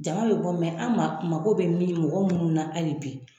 Jama be bɔ mɛ an ma ma ko be mɔ mɔgɔ min mɔgɔ minnu na ali bi